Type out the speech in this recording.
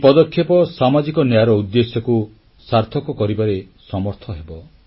ଏହି ପଦକ୍ଷେପ ସାମାଜିକ ନ୍ୟାୟର ଉଦ୍ଦେଶ୍ୟକୁ ସାର୍ଥକ କରିବାରେ ସମର୍ଥ ହେବ